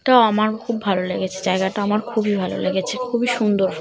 এটাও আমার খুব ভালো লেগেছে জায়গাটা আমার খুবই ভালো লেগেছে খুবই সুন্দর।